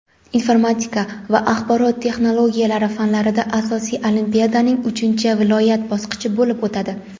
informatika va axborot texnologiyalari fanlaridan asosiy olimpiadaning uchinchi (viloyat) bosqichi bo‘lib o‘tadi.